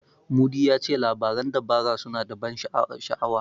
Mudi ya ce labaran dabara suna da ban sha'awa.